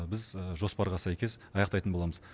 біз жоспарға сәйкес аяқтайтын боламыз